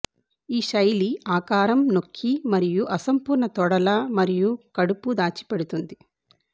ఈ శైలి ఆకారం నొక్కి మరియు అసంపూర్ణ తొడల మరియు కడుపు దాచిపెడుతుంది